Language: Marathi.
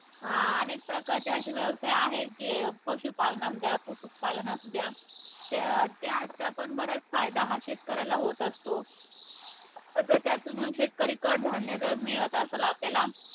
अं अनेक प्रकारचे असे व्यवसाय आहेत, जे पशुपालन असुद्या, कुक्कूटपालन असुद्या त्या त्याचा पण बराच फायदा हा शेतकऱ्यांना होत असतो. आता त्यातूनच शेतकरी कडधान्य जर मिळत आसंल आपल्याला,